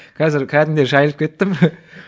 қазір кәдімгідей жайылып кеттім